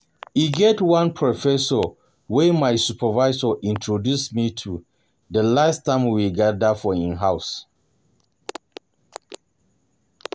E get one Professor wey my supervisor introduce me to the last time we gather for im house